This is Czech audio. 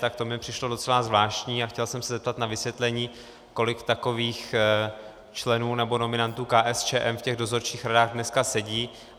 Tak to mi přišlo docela zvláštní a chtěl jsem se zeptat na vysvětlení, kolik takových členů nebo nominantů KSČM v těch dozorčích radách dneska sedí.